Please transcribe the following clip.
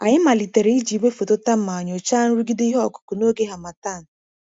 Anyị malitere iji igwefoto thermal nyochaa nrụgide ihe ọkụkụ n’oge harmattan.